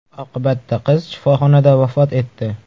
Oqibatda qiz shifoxonada vafot etdi.